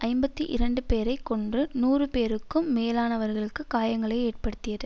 ஐம்பத்தி இரண்டு பேரை கொன்று நூறு பேருக்கும் மேலானவர்களுக்கு காயங்களை ஏற்படுத்தியது